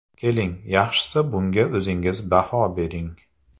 Keling, yaxshisi bunga o‘zingiz baho bering.